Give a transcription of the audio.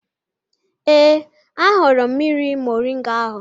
Ee, ahụrụ m mmiri moringa ahụ